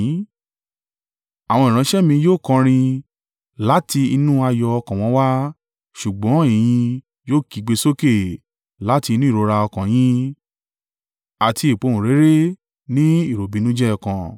Àwọn ìránṣẹ́ mi yóò kọrin láti inú ayọ̀ ọkàn wọn wá, ṣùgbọ́n ẹ̀yin yóò kígbe sókè láti inú ìrora ọkàn yín àti ìpohùnréré ní ìròbìnújẹ́ ọkàn.